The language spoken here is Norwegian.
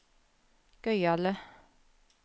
gøyale